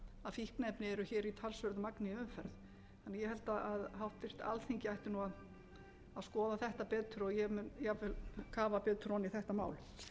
fíkniefni eru hér í talsverðu magni í umferð ég held að háttvirt alþingi ætti að skoða þetta betur og ég mun jafnvel kafa betur ofan í þetta mál